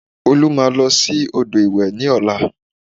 Olú máa lọ sí odò ìwẹ̀ ní ọ̀la